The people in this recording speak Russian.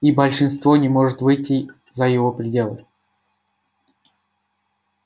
и большинство не может выйти за его пределы